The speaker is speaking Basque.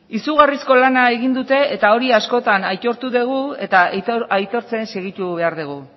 izugarrizko lana egin dute eta hori askotan aitortu dugu eta aitortzen segitu behar dugu